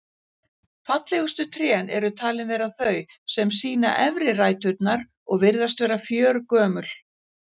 Fallegustu trén eru talin vera þau sem sýna efri ræturnar og virðast vera fjörgömul.